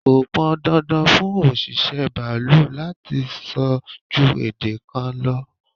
Kọ pọn dandan fún òṣìṣẹ́ baalú láti so ju èdè kan lọ.